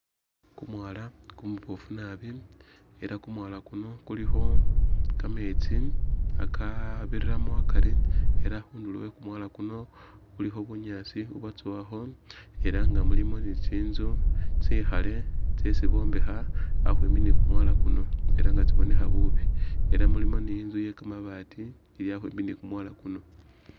Kumwaala kumuboofu naabi ela kumwaala kuno kulikho kametsi akabiramo akari, ela khundulo e kumwala kuno khulikho bunyasi ubwatsowakho ela nga mulimo ni tsinzu tsikhale tsesi bombekha ambi ni kumwala kuno ela nga tsibonekha bubi, ela mulimo ni inzu iye kamabaati ili akhwimbi ni kumwala kuno